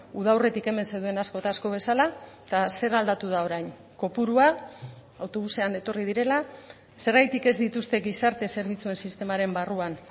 uda aurretik hemen zeuden asko eta asko bezala eta zer aldatu da orain kopurua autobusean etorri direla zergatik ez dituzte gizarte zerbitzuen sistemaren barruan